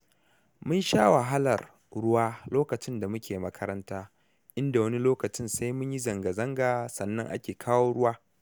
Mun sha wahalar ruwa lokacin da muke makaranta, inda wani lokacin sai mun yi zangazanga sannan ake kawo ruwa.